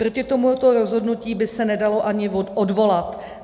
Proti tomuto rozhodnutí by se nedalo ani odvolat.